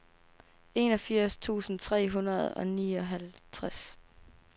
enogfirs tusind tre hundrede og nioghalvtreds